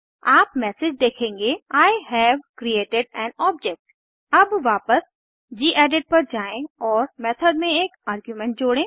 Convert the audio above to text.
आप मैसेज देखेंगे I have created an object अब वापस गेडिट पर जाएँ और मेथड में एक आर्गुमेंट जोड़ें